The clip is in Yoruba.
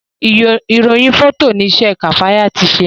irohin Fọtọ ní isé Kafaya ti ṣe